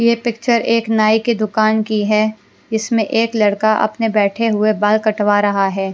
ये पिक्चर एक नाई की दुकान की है जिसमें एक लड़का अपने बैठे हुए बाल कटवा रहा है।